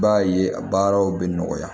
I b'a ye a baaraw bɛ nɔgɔya